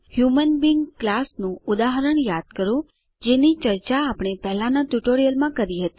human being class નું ઉદાહરણ યાદ કરો જેની ચર્ચા આપણે પહેલાનાં ટ્યુટોરીયલમાં કરી હતી